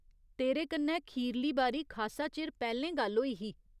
तेरे कन्नै खीरली बारी खासा चिर पैह्‌लें गल्ल होई ही।